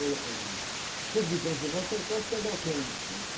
Olha, uh, ãh, o clube de dança nosso era quase perto das zonas